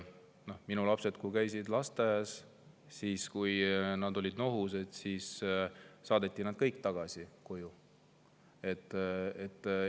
Kui minu lapsed käisid lasteaias, siis saadeti nad kõik tagasi koju, kui nad nohused olid.